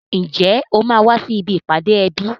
Ǹjẹ́ o máa wá sí ibi ìpàdé ẹbí?